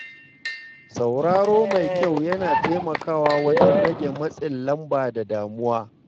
Sauraro mai kyau yana taimakawa wajen rage matsin lamba da damuwa.